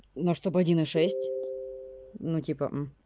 но что бы один и шесть ну типа